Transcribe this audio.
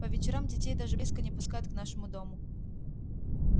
по вечерам детей даже близко не пускают к нашему дому